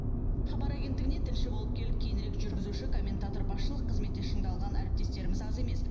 хабар агенттігіне тілші болып келіп кейінірек жүргізуші комментатор басшылық қызметте шыңдалған әріптестеріміз аз емес